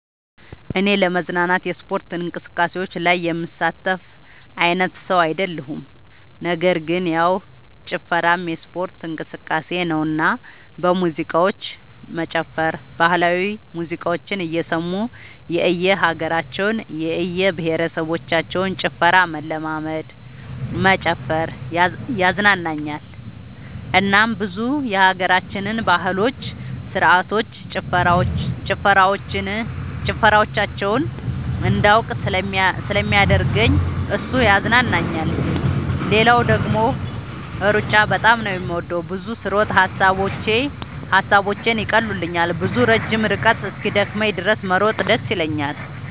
እኔ ለመዝናናት የስፖርት እንቅስቃሴዎች ላይ የምሳተፍ አይነት ሰው አይደለሁም ነገር ግን ያው ጭፈራም የስፖርት እንቅስቃሴ ነውና በሙዚቃዎች መጨፈር ባህላዊ ሙዚቃዎችን እየሰሙ የእየሀገራቸውን የእየብሄረሰቦችን ጭፈራ መለማመድ መጨፈር ያዝናናኛል እናም ብዙ የሀገራችንን ባህሎች ስርዓቶች ጭፈራዎቻቸውን እንዳውቅ ስለሚያደርገኝ እሱ ያዝናናኛል። ሌላው ደግሞ ሩጫ በጣም ነው የምወደው። ብዙ ስሮጥ ሐሳቦቼን ይቀሉልኛል። ብዙ ረጅም ርቀት እስኪደክመኝ ድረስ መሮጥ ደስ ይለኛል።